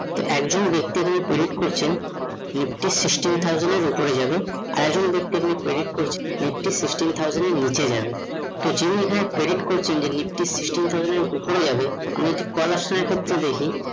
একজন ব্যাক্তি হয়ে predict করছেন nifty sixteen thousand এর উপরে যাবে আর একজন ব্যক্তি এদিক থেকে predict করছে nifty sixteen thousand এর নিচে যাবে তো যে এখানে predict করছে, তো যে এখানে predict করেছে nifty sixteen thousand ওপরে যাবে আমরা ঠিক call আসার আগের দেখি